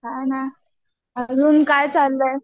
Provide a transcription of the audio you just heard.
काय नाही अजून काय चाललंय?